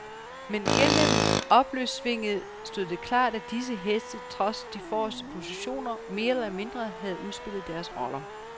Men gennem opløbssvinget stod det klart, at disse heste trods de forreste positioner mere eller mindre havde udspillet deres roller.